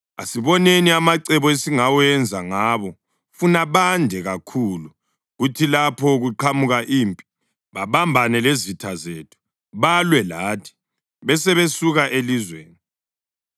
Asiboneni amacebo esingawenza ngabo funa bande kakhulu kuthi lapho kuqhamuka impi, babambane lezitha zethu, balwe lathi, besebesuka elizweni.”